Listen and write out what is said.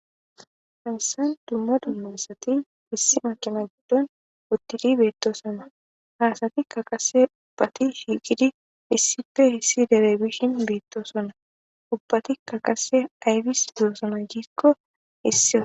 Hamsan dumma dummasati issi maqina guddon uttidi beetto sama haasati kaqase ubbati shiiqidi issife hissi derey bishin beettoo sonna ubbati kaqase ayfis dusoma giikko issi o.